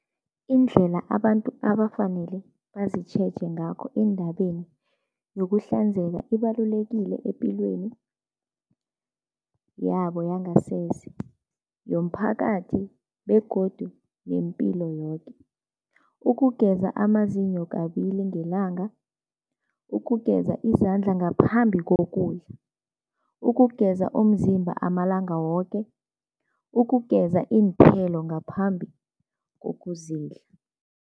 Indlela abantu abafanele bazitjheje ngakho eendabeni yokuhlanzeka ibalulekile epilweni yabo yangasese, yomphakathi begodu nempilo yoke. Ukugeza amazinyo kabili ngelanga, ukugeza izandla ngaphambi kokudla, ukugeza umzimba amalanga woke, ukugeza iinthelo ngaphambi kokuzidla.